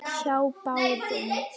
Hjá báðum.